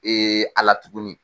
A la tuguni